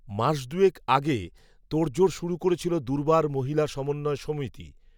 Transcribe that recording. মাস দুয়েক আগে তোড়জোড় শুরু করেছিল, দুর্বার মহিলা সমন্বয় সমিতি